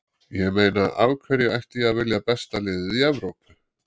Ég meina af hverju ætti ég að vilja besta liðið í Evrópu?